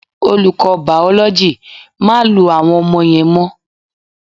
Olùkọ́ Bàòlójì, "má lu àwọn ọmọ yẹn mọ́"